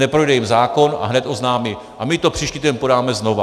Neprojde jim zákon a hned oznámí: A my to příští týden podáme znovu!